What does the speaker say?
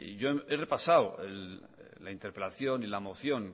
he repasado la interpelación la moción